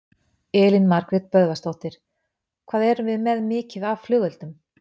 Elín Margrét Böðvarsdóttir: Hvað erum við með mikið af af flugeldum?